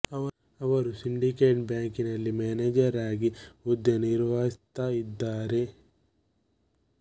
ಅವರು ಸಿಂಡಿಕೇಟ್ ಬ್ಯಾಂಕಿನಲ್ಲಿ ಮ್ಯಾನೇಜರ್ ಆಗಿ ಹುದ್ದೆ ನಿರ್ವಹಿಸ್ತಾ ಇದ್ದಾರೆ